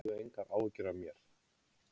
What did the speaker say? Hafðu engar áhyggjur af mér